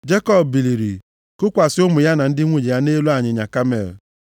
Jekọb biliri, kukwasị ụmụ ya na ndị nwunye ya nʼelu ịnyịnya kamel,